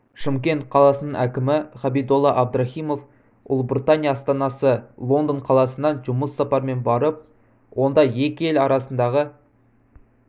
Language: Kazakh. шымкент қаласының әкімі ғабидолла әбдіраіымов ұлыбритания астанасы лондон қаласына жұмыс сапарымен барып онда екі ел арасындағы